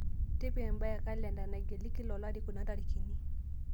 tipika embae e kalenda naigili kila olari kuna tarikini